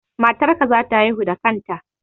Matar ka za ta haihu da kanta